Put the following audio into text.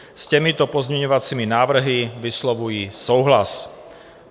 S těmito pozměňovacími návrhy vyslovuji souhlas.